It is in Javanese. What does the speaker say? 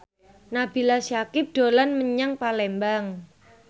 Nabila Syakieb dolan menyang Palembang